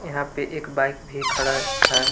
यहां पे एक बाइक भी खड़ा है।